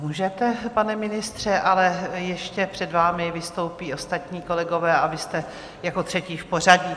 Můžete, pane ministře, ale ještě před vámi vystoupí ostatní kolegové a vy jste jako třetí v pořadí.